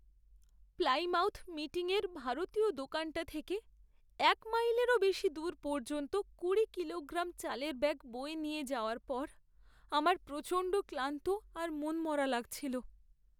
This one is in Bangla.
প্লাইমাউথ মিটিংয়ের ভারতীয় দোকানটা থেকে এক মাইলেরও বেশি দূর পর্যন্ত কুড়ি কিলোগ্রাম চালের ব্যাগ বয়ে নিয়ে যাওয়ার পর, আমার প্রচণ্ড ক্লান্ত আর মনমরা লাগছিল।